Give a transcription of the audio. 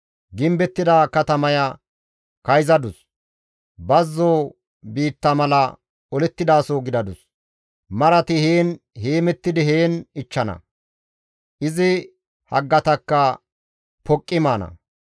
Gimbettida katamaya kayzadus; bazzo biitta mala olettidaso gidadus; marati heen heemettidi heen ichchana; izi haggatakka poqqi maana.